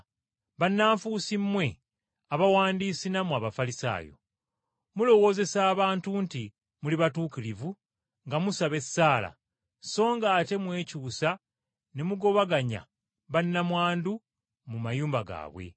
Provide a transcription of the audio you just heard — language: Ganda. “Bannanfuusi mmwe Abawandiisi nammwe Abafalisaayo! Mulowoozesa abantu nti muli batuukirivu nga musaba essaala, so ng’ate mwekyusa ne mugobaganya bannamwandu mu mayumba gaabwe.